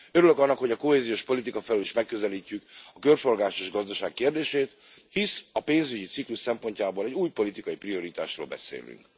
Örülök annak, hogy a kohéziós politika felől is megközelítjük a körforgásos gazdaság kérdését, hisz a pénzügyi ciklus szempontjából egy új politikai prioritásról beszélünk.